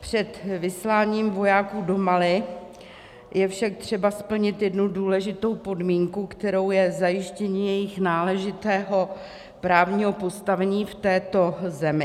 Před vysláním vojáků do Mali je však třeba splnit jednu důležitou podmínku, kterou je zajištění jejich náležitého právního postavení v této zemi.